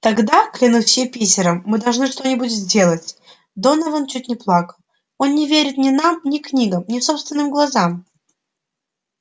тогда клянусь юпитером мы должны что-нибудь сделать донован чуть не плакал он не верит ни нам ни книгам ни собственным глазам